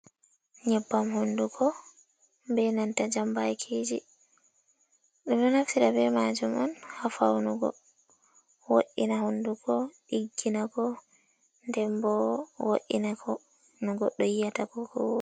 Nyeɓɓam hunɗugo ɓe nanta jamɓakiji. ɗum ɗo naftira ɓe majum on ha faunugo woɗɗina hunɗugo ɗiggina ko ɗenɓo woina ko no goɗɗo yiyata kokoo.